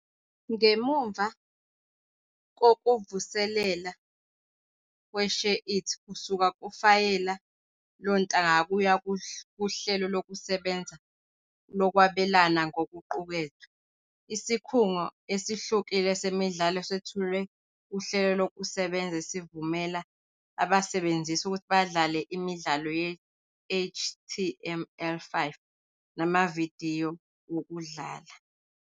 Ngemuva kokuvuselelwa kwe-SHAREit kusuka kufayela lontanga kuya kuhlelo lokusebenza lokwabelana ngokuqukethwe, isikhungo esihlukile semidlalo sethulwe kuhlelo lokusebenza esivumela abasebenzisi ukuthi badlale imidlalo ye-HTML5 namavidiyo wokudlala.